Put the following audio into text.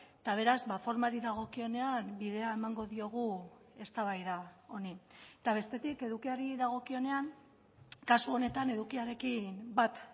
eta beraz formari dagokionean bidea emango diogu eztabaida honi eta bestetik edukiari dagokionean kasu honetan edukiarekin bat